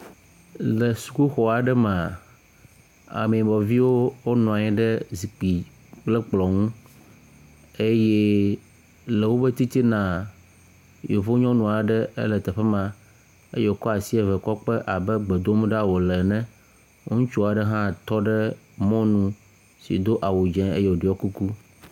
Le sukuxɔ aɖe mea, ame yibɔviwo nɔ anyi ɖe zikpui kple kplɔ̃ ŋu eye le woƒe titina, yevu nyɔnu aɖe le teƒe ma eye wokɔ asi eve kɔ kpe abe gbe dom wole ɖa ene. Ŋutsu aɖe hã tɔ ɖe mɔnu si do awu dzɛ̃ eye woɖɔ kuku.